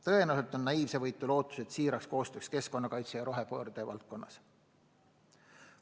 Tõenäoliselt on naiivsevõitu loota tõhusat koostööd keskkonnakaitse ja rohepöörde valdkonnas.